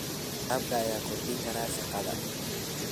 Waraabka ayaa kordhin kara shaqada.